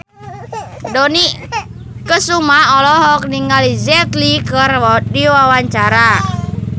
Dony Kesuma olohok ningali Jet Li keur diwawancara